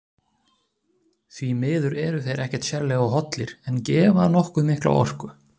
Því miður eru þeir ekkert sérlega hollir en gefa nokkuð mikla orku.